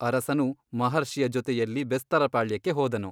ಅರಸನು ಮಹರ್ಷಿಯ ಜೊತೆಯಲ್ಲಿ ಬೆಸ್ತರ ಪಾಳ್ಯಕ್ಕೆ ಹೋದನು.